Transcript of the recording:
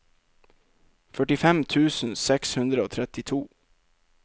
førtifem tusen seks hundre og trettito